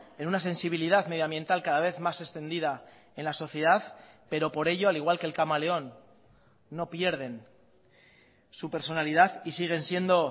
en una sensibilidad medioambiental cada vez más extendida en la sociedad pero por ello al igual que el camaleón no pierden su personalidad y siguen siendo